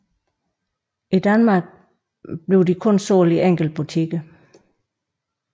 I Danmark sælges de kun i enkelte butikker